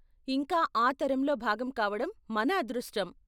ఇంకా ఆ తరంలో భాగం కావడం మన అదృష్టం.